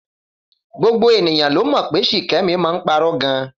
Gbogbo ènìyàn ló mọ̀ pé Ṣìkẹ́mi máa ń parọ́ gan